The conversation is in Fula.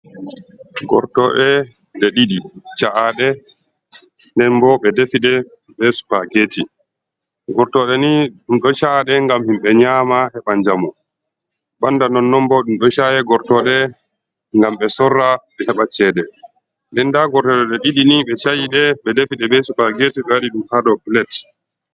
Gortode de didi sa’ade ,denbo bedefide be supergeti gortode ni dumdo sa’ade gam himbe nyama hebanjamo banda non non bo dum do saa gortode gam be sorra be heɓa cede lenda gortode de didi ni be chayide be defide be supageti bewadi dum hado plet.